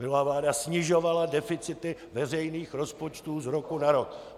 Minulá vláda snižovala deficity veřejných rozpočtů z roku na rok.